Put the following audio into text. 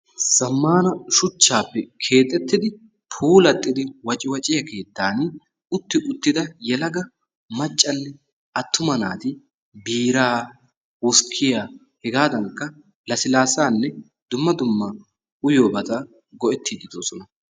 Zammana shuchchaappe keexxettidi puulatidi wacciwacciya keettan utti uttida yelaga maccanne attuma naati biiraa, wuskkiyaa, hegaadanikka lassillaassanne dumma dumma uyiyobata go"ettidi de'oosona.